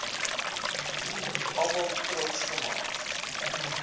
almal trots gemaak